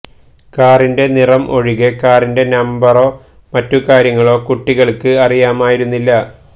കാറിന്റെ നിറം ഒഴികെ കാറിന്റെ നമ്പറോ മറ്റു കാര്യങ്ങളോ കുട്ടികള്ക്ക് അറിയാമായിരുന്നില്ല